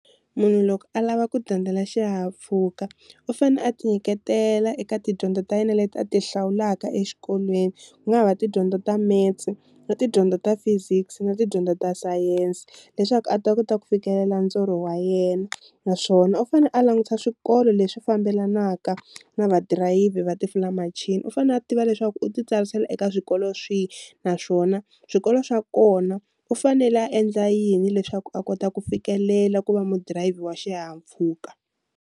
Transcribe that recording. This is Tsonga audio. Munhu loko a lava ku dyondzela xihahampfhuka u fanele a ti nyiketela eka tidyondzo ta yena leti a ti hlawulaka exikolweni, ku nga ha va tidyondzo ta metsi na tidyondzo ta physics na tidyondzo ta science, leswaku a ta kota ku fikelela ndzorho wa yena naswona u fanele a langutisa swikolo leswi fambelanaka na va dirayivhi va tifulamachini, u fanele a tiva leswaku u ti tsarisela eka swikolo swihi naswona swikolo swa kona u fanele a endla yini leswaku a kota ku fikelela ku va mudirayivhi wa xihahampfhuka.